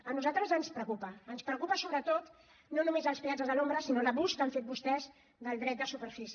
a nosaltres ens preocupa ens preocupen sobretot no només els peatges a l’ombra sinó l’abús que han fet vostès del dret de superfície